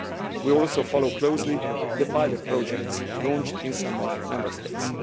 We are also following closely the pilot projects launched in some Member States.